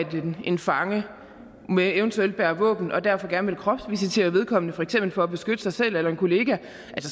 en fange eventuelt bærer våben og derfor gerne vil kropsvisitere vedkommende for eksempel for at beskytte sig selv eller en kollega